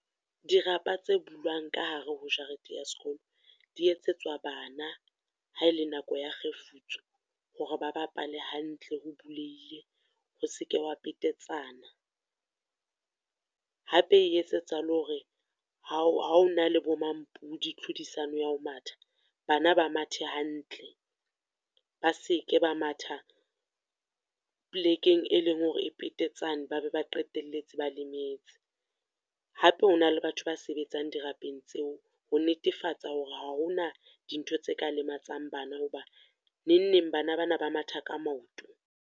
Dirapa tse bulwang ka hare ho jarete ya sekolo, di etsetswa bana ha ele nako ya kgefutso, hore ba bapale hantle ho bulehile, ho seke wa petetsana. Hape e etsetsa le hore ha o ha ho na le bo mmampudi, tlhodisano ya ho matha, bana ba mathe hantle, ba seke ba matha polekeng e leng hore e petetsane ba be ba qetelletse ba lemetse. Hape, ho na le batho ba sebetsang dirapeng tseo, ho netefatsa hore ha hona dintho tse ka lematsang bana, ho ba neng neng bana ba na ba matha ka maoto.